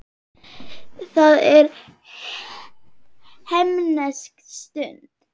Það er himnesk stund.